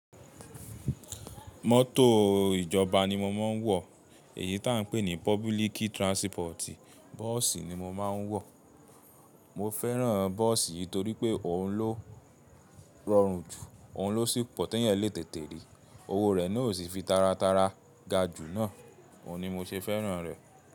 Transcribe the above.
Mọ́tò ìjọba ni mo máa ń wọ èyí tà ń pè ní pupiliki transport. Bọ́ọ̀sì ni mo máa ń wọ. Mo fẹ́ràn bọ́ọ̀sì yìí torí pé òun ló rọrùn jù, òun ló sì pọ̀ tẹ́ èèyàn lé tètè rí. Owó rẹ̀ náà o sì fi taratara ga jù náà. Òun ni mo ṣe fẹ́ràn rẹ̀.